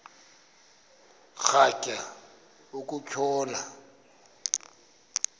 rhatya uku tshona